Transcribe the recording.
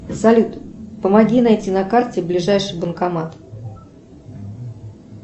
салют помоги найти на карте ближайший банкомат